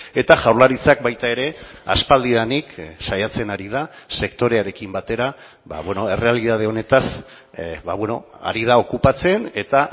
eta jaurlaritzak baita ere aspaldidanik saiatzen ari da sektorearekin batera errealitate honetaz ari da okupatzen eta